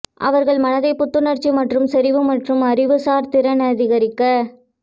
அவர்கள் மனதை புத்துணர்ச்சி மற்றும் செறிவு மற்றும் அறிவுசார் திறன் அதிகரிக்க